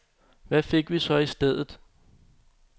Hvad fik vi så i stedet?